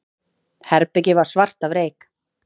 Herbergið var svart af reyk.